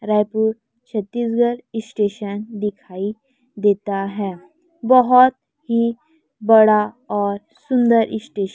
Raipur Chhattisgarh station दिखाइ देता है बहोत ही बड़ा और सुंदर स्टेश--